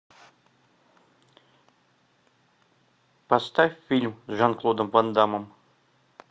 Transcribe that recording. поставь фильм с жан клодом ван даммом